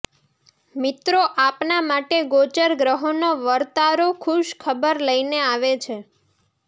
મિત્રો આપના માટે ગોચર ગ્રહોનો વરતારો ખુશ ખબર લઈને આવે છે